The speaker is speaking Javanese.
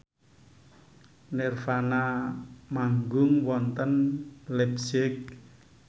nirvana manggung wonten leipzig